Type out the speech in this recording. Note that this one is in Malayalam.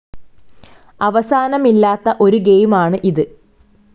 അവസാനമില്ലാത്ത ഒരു ഗെയിമാണ് ഇത്.